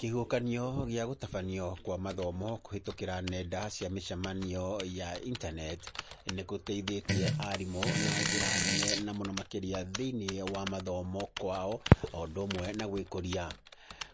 Kĩhuhũkanio gĩa gũtabanio kwa mathomo kũhĩtũkĩra nenda cia mĩcamanio ya intaneti, nĩ kũteithĩtie aarimũ na njĩra nene na mũno makĩria thĩiniĩ wa mathomo kwao, o ũndũ ũmwe na gwĩkũria.